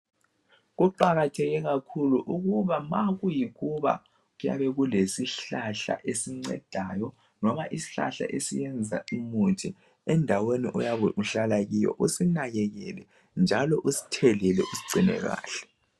Kuqakatheke kakhulu ukuthi ma kuyikuthi kulesihlahla esicedeyo esiyenza umuthi endaweni endaweni oyabe uhlala kuyo usinakelele njalo usithelele usigcine kahle.